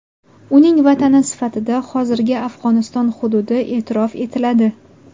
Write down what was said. Uning vatani sifatida hozirgi Afg‘oniston hududi e’tirof etiladi.